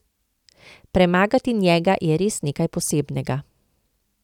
Premagati njega je res nekaj posebnega.